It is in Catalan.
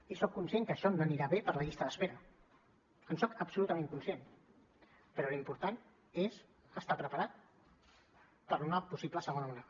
i soc conscient que això no anirà bé per a la llista d’espera en soc absolutament conscient però l’important és estar preparat per a una possible segona onada